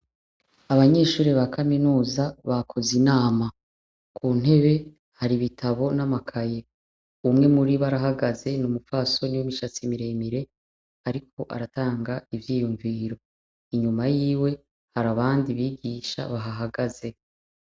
Abanyeshure ba kaminuza bakoze inama kuntebe hari ibitabo namakaye umwe muribo arahagaze numupfasoni wumushatsi miremire ariko aratanga ivyiyumviro inyuma yiwe hari abandi bigisha babahagaze